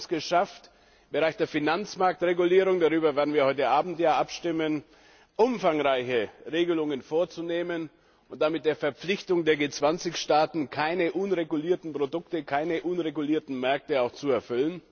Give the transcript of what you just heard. Wir haben es geschafft, im Bereich der Finanzmarktregulierung darüber werden wir heute Abend ja abstimmen umfangreiche Regelungen vorzunehmen und damit auch die Verpflichtung der G20 Staaten zu erfüllen, keine unregulierten Produkte, keine unregulierten Märkte zuzulassen.